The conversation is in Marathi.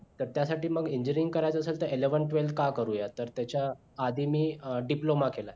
तर त्यासाठी मग engineering करायचे असेल तर eleven twelve का करूया तर त्याच्या आधी मी diploma केला